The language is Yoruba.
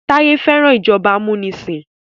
Taye fẹ́ràn ìjọba amunisin.